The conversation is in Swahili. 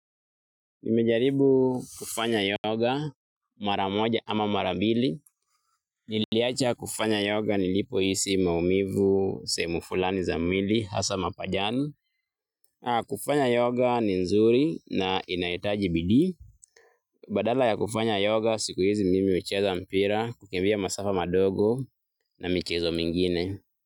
Nimejaribu kufanya yoga mara moja ama mara mbili. Niliacha kufanya yoga nilipohisi maumivu sehemu fulani za mwili hasa mapajani. Kufanya yoga ni nzuri na inahitaji bidii. Badala ya kufanya yoga siku hizi mimi hucheza mpira kukimbia masafa madogo na michezo mingine.